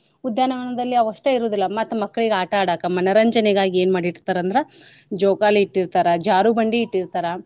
ಉದ್ಯಾನ ವನದಲ್ಲಿ ಅವಷ್ಟೇ ಇರೂದಿಲ್ಲ ಮತ್ ಮಕ್ಕಳ್ಗ ಆಟಾ ಆಡಾಕ ಮನರಂಜನೆಗಾಗಿ ಏನ್ ಮಾಡಿರ್ತರಂದ್ರ ಜೋಕಾಲಿ ಇಟ್ಟಿರ್ತಾರ ಜಾರು ಬಂಡಿ ಇಟ್ಟಿರ್ತಾರ.